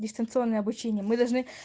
дистанционное обучение мы должны